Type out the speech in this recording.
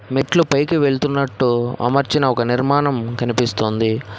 మెట్లు పైకి వెళుతున్నట్టు అమర్చిన ఒక నిర్మాణం కనిపిస్తోంది.